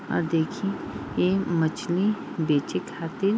और देखि ई मछली बेचे खातिर --